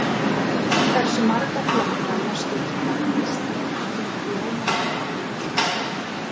Hversu marga flokka má skipta íslenskum blómplöntum í?